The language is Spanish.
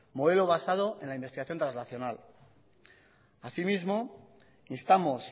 modelo basado en la investigación traslacional así mismo instamos